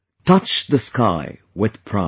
touch the sky with pride